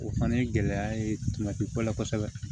O fana ye gɛlɛya ye tumati ko la kosɛbɛ